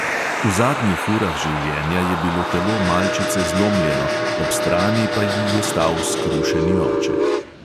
V zadnjih urah življenja je bilo telo malčice zlomljeno, ob strani pa ji je stal skrušeni oče.